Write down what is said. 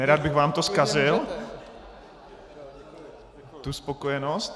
Nerad bych vám to zkazil, tu spokojenost.